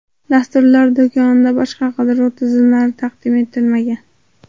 Dasturlar do‘konida boshqa qidiruv tizimlari taqdim etilmagan.